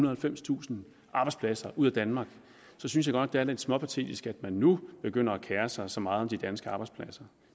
og halvfemstusind arbejdspladser ud af danmark så synes jeg nok er lidt småpatetisk at man nu begynder at kere sig så meget om de danske arbejdspladser